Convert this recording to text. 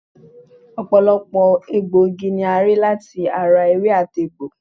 Ọ̀pọ̀lọpọ̀ egbòogi ni a rí láti ara ewé àti egbò